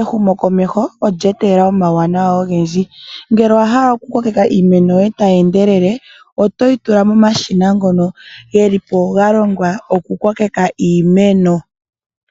ehumokomeho olya etelela omawuwanawa ogendji. Ngele owahala okukokeka iimeno yoye tayi endelele oto yi tula momashina ngono geli po galongwa okukokeka iimeno.